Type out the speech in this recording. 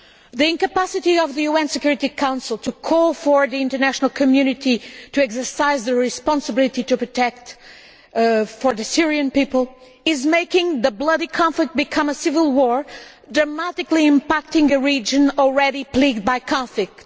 The incapacity of the UN Security Council to call for the international community to exercise their responsibility to protect the Syrian people is making the bloody conflict become a civil war, dramatically impacting a region already plagued by conflict.